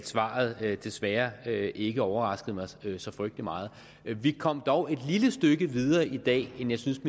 svaret desværre ikke overraskede mig så frygtelig meget vi kom dog et lille stykke videre i dag end jeg synes